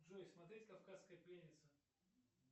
джой смотреть кавказская пленница